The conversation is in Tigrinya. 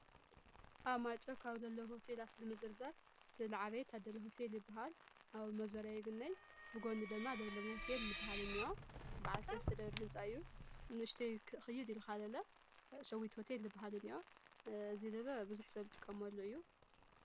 ኣብ ማይጨው ካብለለ ሆቴላት ልምዝርዛር ትልዓበይ ታደለ ሆቴል ይበሃል። ኣብ መዞርያ ይግነይ ብጐንድ ደማ ለምለም ሆቴል ልበሃል እንእዮ በዓል ሰለስተ ደብሪ ሕንፃ እዩ። ንእሽተይ ኽይድ ኢልኻ ለለ ሸዊት ሆቴል ልበሃልን እንኦ እዚይ ለለ ብዙሕ ሰብ ዝጥቀመሉ እዩ።